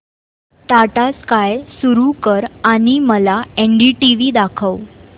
Tata sky सुरू कर आणि मला एनडीटीव्ही दाखव